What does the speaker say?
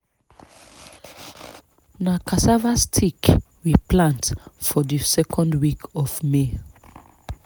na cassava stick we plant for di second week of may.